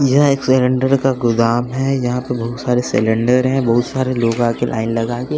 यह एक सिलेंडर का गोदाम है यहां पे बहुत सारे सिलेंडर हैं बहुत सारे लोग आके लाइन लगाके--